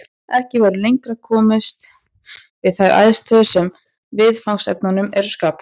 Ekki verður komist lengra við þær aðstæður sem viðfangsefnunum eru skapaðar.